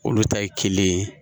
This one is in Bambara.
Olu ta ye kelen ye.